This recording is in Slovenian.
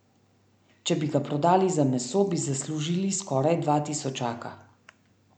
Če bi ga prodali za meso, bi zaslužili skoraj dva tisočaka.